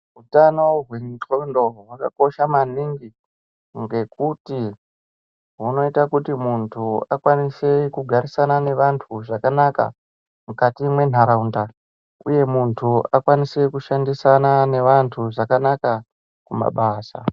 Utano hwendxondo hwakakosha maningi ngekuti hunoita kuti muntu akwanise kugarisana nevantu zvakanaka mukati mendaraunda uye muntu akwanise kushandisana nevantu zvakanaka kumabasa.